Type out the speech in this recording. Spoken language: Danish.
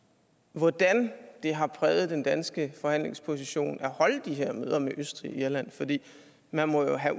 hvordan det har præget den danske forhandlingsposition at holde de her møder med østrig og irland man må jo have